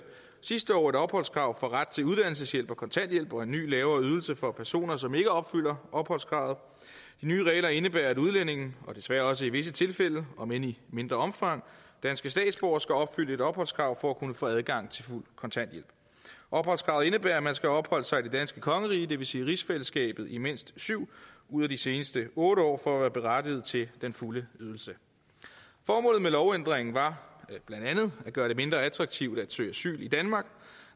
sidste år et opholdskrav for ret til uddannelseshjælp og kontanthjælp og en ny lavere ydelse for personer som ikke opfylder opholdskravet nye regler indebærer at udlændinge og desværre også i visse tilfælde om end i mindre omfang danske statsborgere skal opfylde et opholdskrav for at kunne få adgang til fuld kontanthjælp opholdskravet indebærer at man skal have opholdt sig i det danske kongerige det vil sige i rigsfællesskabet i mindst syv ud af de seneste otte år for at være berettiget til den fulde ydelse formålet med lovændringen var blandt andet at gøre det mindre attraktivt at søge asyl i danmark